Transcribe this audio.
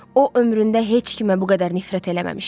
O ömründə heç kimə bu qədər nifrət eləməmişdi.